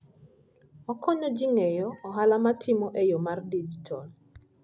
Okonyo ji ng'eyo ohala ma itimo e yo mar digital.